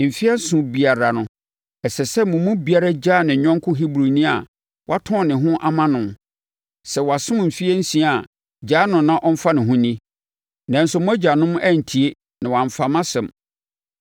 ‘Mfeɛ nson biara no, ɛsɛ sɛ mo mu biara gyaa ne yɔnko Hebrini a watɔn ne ho ama no. Sɛ wasom mfeɛ nsia a gyaa no na ɔmfa ne ho nni.’ Nanso, mo agyanom antie na wɔamfa mʼasɛm.